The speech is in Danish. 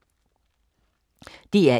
DR1